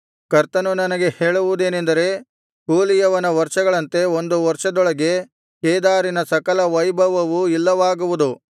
ಕರ್ತನು ನನಗೆ ಹೇಳುವುದೇನೆಂದರೆ ಕೂಲಿಯವನ ವರ್ಷಗಳಂತೆ ಒಂದು ವರ್ಷದೊಳಗೆ ಕೇದಾರಿನ ಸಕಲ ವೈಭವವು ಇಲ್ಲವಾಗುವುದು